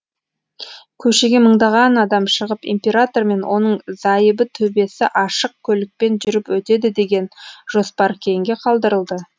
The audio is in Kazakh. көшеге мыңдаған адам шығып император мен оның зайыбы төбесі ашық көлікпен жүріп өтеді деген жоспар кейінге қалдырылды